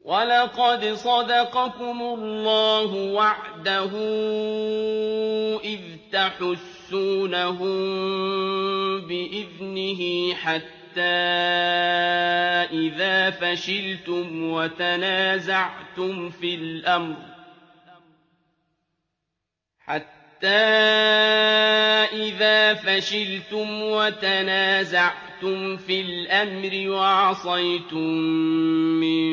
وَلَقَدْ صَدَقَكُمُ اللَّهُ وَعْدَهُ إِذْ تَحُسُّونَهُم بِإِذْنِهِ ۖ حَتَّىٰ إِذَا فَشِلْتُمْ وَتَنَازَعْتُمْ فِي الْأَمْرِ وَعَصَيْتُم مِّن